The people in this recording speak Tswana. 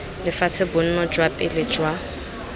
lefatshe bonno jwa pele jwa